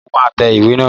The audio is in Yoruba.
Mo máa tẹ ìwé naa